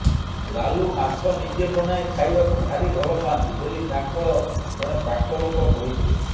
ଲାଲୁ ମାଛ ନିଜେ ବନାଇ ଖାଇବାକୁ ଭାରି ଭଲ ପାଆନ୍ତି ବୋଲି ତାଙ୍କର ଜଣେ ପାଖ ଲୋକ କହିଥିଲେ